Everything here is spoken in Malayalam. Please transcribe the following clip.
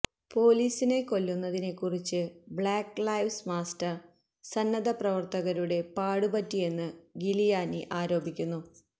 പോലീസിനെ കൊല്ലുന്നതിനെക്കുറിച്ച് ബ്ലാക്ക് ലൈവ്സ് മാസ്റ്റർ സന്നദ്ധപ്രവർത്തകരുടെ പാടുപറ്റിയെന്ന് ഗിലിയാനി ആരോപിക്കുന്നു